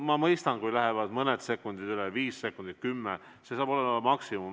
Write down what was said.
Ma mõistan, kui läheb mõni sekund üle – viis sekundit, kümme, see on maksimum.